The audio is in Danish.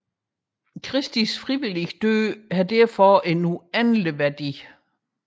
Kristi frivillige død har således en uendelig værdi